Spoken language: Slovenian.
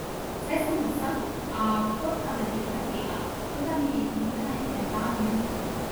Saj sem o vsem, a kot da me nekaj bega, kot da mi nekaj ne da miru.